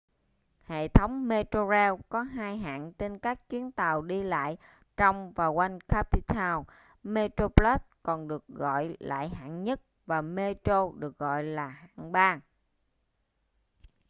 hệ thống metrorail có hai hạng trên các chuyến tàu đi lại trong và quanh cape town: metroplus còn được gọi lại hạng nhất và metro được gọi là hạng ba